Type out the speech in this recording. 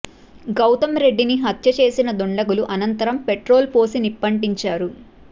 గౌతం రెడ్డిని హత్య చేసిన దుండగులు అనంతరం పెట్రోలు పోసి నిప్పంటించారు